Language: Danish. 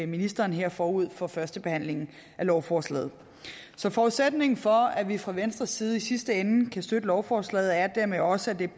ministeren her forud for førstebehandlingen af lovforslaget så forudsætningen for at vi fra venstres side i sidste ende kan støtte lovforslaget er dermed også at det